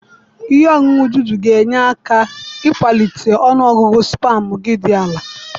Ihe ọṅụṅụ Dudu ga-enyere gị aka ịkwalite ọnụ ọgụgụ spamụ gị dị ala.